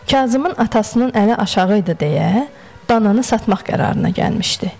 Kazımın atasının əli aşağı idi deyə, dananı satmaq qərarına gəlmişdi.